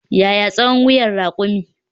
Yaya tsawon wuyan rakumi?